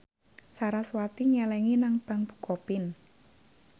sarasvati nyelengi nang bank bukopin